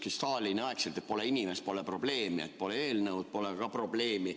Nagu Stalini ajal, et pole inimest, pole probleemi – pole eelnõu, pole ka probleemi.